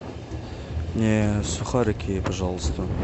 мне сухарики пожалуйста